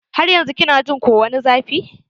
Har yanzun kina jin ko wani zafi?